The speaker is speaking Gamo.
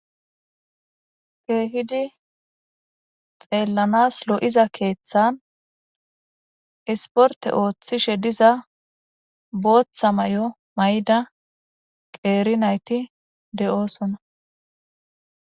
Keehidi xeellanas lo7iza keeththan isporte ooththishe diza booththa may7o may7da qeeri nayti de7oosona.